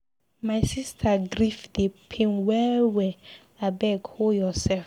My sister grief dey pain well well, abeg hol yoursef.